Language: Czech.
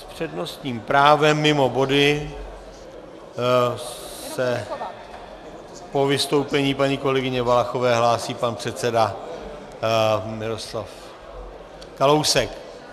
S přednostním právem mimo body se po vystoupení paní kolegyně Valachové hlásí pan předseda Miroslav Kalousek.